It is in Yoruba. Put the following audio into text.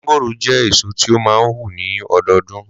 Mángòrò jẹ́ èso tí o máa ń hù ní ọdọọdún.